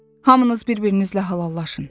Hamınız bir-birinizlə hallallaşın.